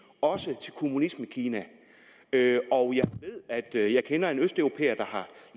også til kommunismekina og jeg jeg kender en østeuropæer der